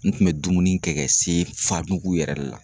N kun bɛ dumuni kɛ ka se fa mugu yɛrɛ de la.